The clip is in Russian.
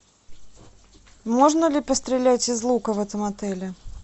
можно ли пострелять из лука в этом отеле